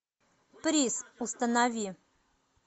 приз установи